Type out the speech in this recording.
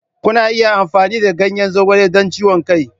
Kuna iya amfani da ganyen zogale don ciwon kai.